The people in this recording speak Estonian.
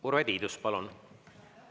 Urve Tiidus, palun!